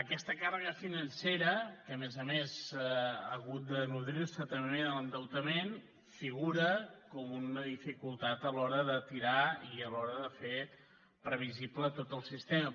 aquesta càrrega financera que a més a més ha hagut de nodrir se també de l’endeutament figura com una dificultat a l’hora de tirar i a l’hora de fer previsible tot el sistema